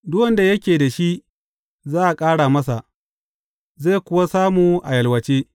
Duk wanda yake da shi, za a ƙara masa, zai kuwa samu a yalwace.